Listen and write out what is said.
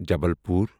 Jabalpur